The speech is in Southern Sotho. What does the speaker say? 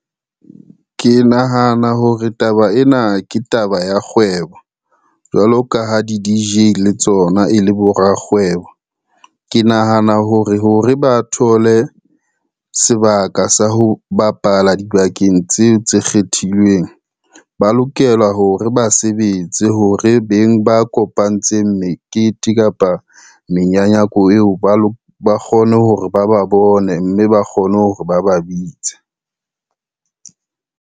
Ke nahana hore taba ena ke taba ya kgwebo, jwalo ka ha di-D_J le tsona e le borakgwebo. Ke nahana hore ho re ba thole sebaka sa ho bapala dibakeng tseo tse kgethilweng, ba lokela hore ba sebetse hore beng ba kopantseng mekete kapa menyanyako eo, ba kgone hore ba ba bone, mme ba kgone hore ba ba bitse.